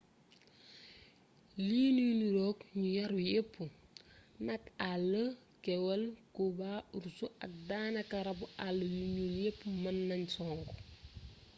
li nuy niroog ñu yaru yepp nag àll kewël kooba urs ak daanaka rabu àll yu njool yepp mën nan songu